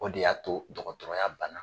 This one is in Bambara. O de y'a to dɔgɔtɔrɔya bana